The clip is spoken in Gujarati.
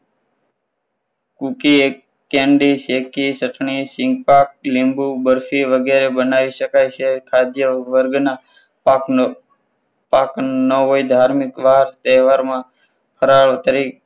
cookie candy ચટણી શેકી લીંબુ બરફી વગેરે બનાવી શકાય છે ખાદ્ય વર્ગના પાકનો પાક ન હોય ધાર્મિક પાક તહેવારમાં વપરાય તરીકે